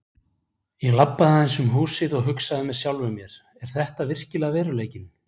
Ég labbaði bara aðeins um húsið og hugsaði með sjálfum mér: Er þetta virkilega veruleikinn?